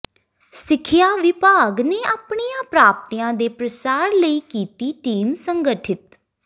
ਸਿੱਖਿਆ ਵਿਭਾਗ ਨੇ ਆਪਣੀਆਂ ਪ੍ਰਾਪਤੀਆਂ ਦੇ ਪ੍ਰਸਾਰ ਲਈ ਕੀਤੀ ਟੀਮ ਸੰਗਠਿਤ